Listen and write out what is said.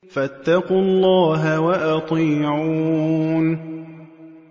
فَاتَّقُوا اللَّهَ وَأَطِيعُونِ